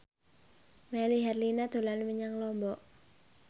Melly Herlina dolan menyang Lombok